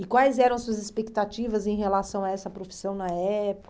E quais eram as suas expectativas em relação a essa profissão na